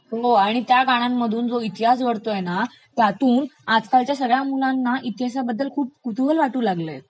हो, आणि त्या गाण्यांमधुन जो इतिहास घडतोय ना त्यातून आजकालच्या सगळ्या मुलांना इतिहासाबद्दल खूप कुतूहल वाटू लागलयं